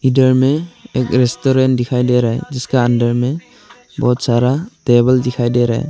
इधर में एक रेस्टोरेंट दिखाई दे रहा है जिसके अंदर में बहुत सारा टेबल दिखाई दे रहा है।